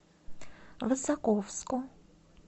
высоковску